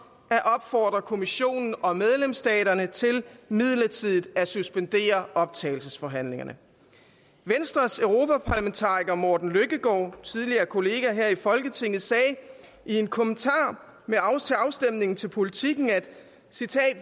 at opfordre kommissionen og medlemsstaterne til midlertidigt at suspendere optagelsesforhandlingerne venstres europaparlamentariker morten løkkegaard tidligere kollega her i folketinget sagde i en kommentar til afstemningen til politiken